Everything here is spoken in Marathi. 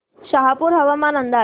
शहापूर हवामान अंदाज